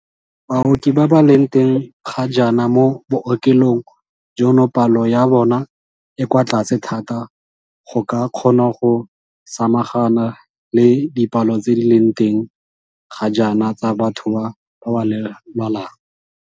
Baoki ba ba leng teng ga jaana mo bookelong jono palo ya bona e kwa tlase thata go ka kgona go samagana le dipalo tse di leng teng ga jaana tsa batho ba ba lwalang.